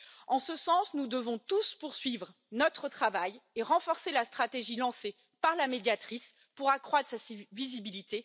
En ce sens, nous devons tous poursuivre notre travail et renforcer la stratégie lancée par la Médiatrice pour accroître sa visibilité.